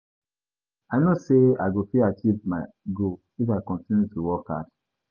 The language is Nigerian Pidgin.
I no say I go fit achieve my goal if I continue to work hard.